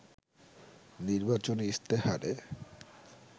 নির্বাচনী ইশতেহারে